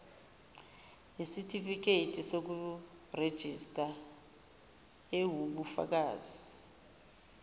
yesitifiketi sokurejista ewubufakazi